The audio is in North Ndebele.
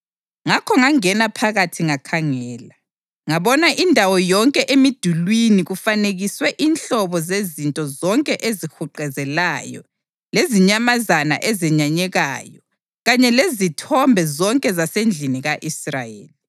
Ngakho ngangena phakathi ngakhangela, ngabona indawo yonke emidulini kufanekiswe inhlobo zezinto zonke ezihuquzelayo lezinyamazana ezenyanyekayo kanye lezithombe zonke zasendlini ka-Israyeli.